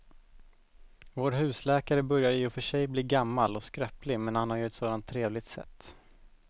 Vår husläkare börjar i och för sig bli gammal och skröplig, men han har ju ett sådant trevligt sätt!